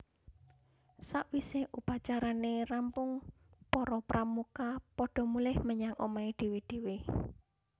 Sawise upacarane rampung para Pramuka padha mulih menyang omahé dhéwé dhéwé